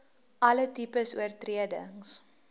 alle tipes oortredings